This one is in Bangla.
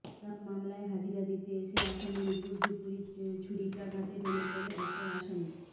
হত্যা মামলায় হাজিরা দিতে এসে আসামির উপর্যুপরি ছুরিকাঘাতে ঢলে পড়ে অপর আসামি